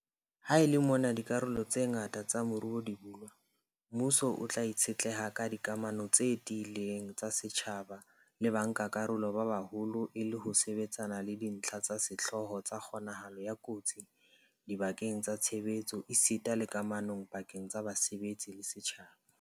Ha e le mona dikarolo tse ngata tsa moruo di bulwa, mmuso o tla itshetleha ka dikamano tse tiileng tsa setjhaba le bankakarolo ba baholo e le ho sebetsana le dintlha tsa sehlooho tsa kgonahalo ya kotsi dibakeng tsa tshebetso esita le kamano pakeng tsa basebetsi le setjhaba.